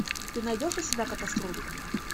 ты найдешь у себя катастрофу